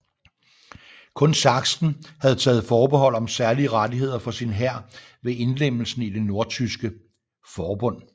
Kun Sachsen havde taget forbehold om særlige rettigheder for sin hær ved indlemmelsen i det Nordtyske forbund